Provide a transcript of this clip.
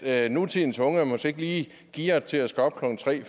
er nutidens unge måske ikke lige gearet til at skulle op klokken tre